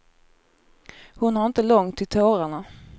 Hon har inte långt till tårarna.